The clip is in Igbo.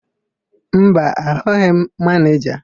Mba, ahụghị m manịja.